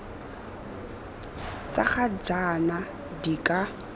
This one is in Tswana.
tsa ga jaana di ka